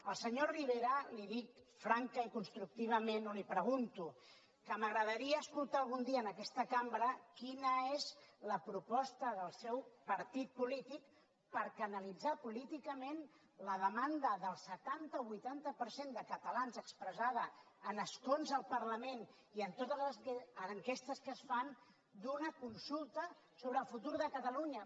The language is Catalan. al senyor rivera li dic francament i constructivament o li ho pregunto que m’agradaria escoltar algun dia en aquesta cambra quina és la proposta del seu partit polític per canalitzar políticament la demanda del setanta o vuitanta per cent de catalans expressada en escons al parlament i en totes les enquestes que es fan d’una consulta sobre el futur de catalunya